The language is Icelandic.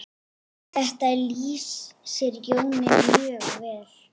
Þetta lýsir Jóni mjög vel.